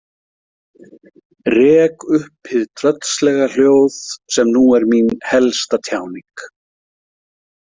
Rek upp hið tröllslega hljóð sem nú er mín helsta tjáning.